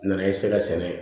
Nana ye se ka sɛnɛ